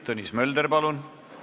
Tõnis Mölder, palun!